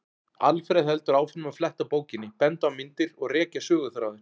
Alfreð heldur áfram að fletta bókinni, benda á myndir og rekja söguþráðinn.